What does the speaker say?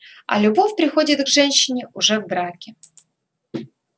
а любовь приходит к женщине уже в браке